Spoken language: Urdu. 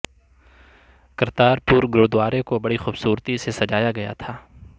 کرتارپور گرودوارے کو بڑی خوبصورتی سے سجایا گیا تھا